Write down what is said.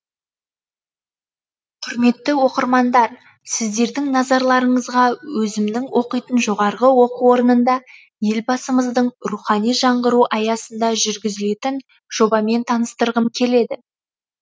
құрметті оқырмандар сіздердің назарларыңызға өзімнің оқитын жоғары оқу орнында елбасымыздың рухани жаңғыру аясында жүргізілетін жобамен таныстырғым келеді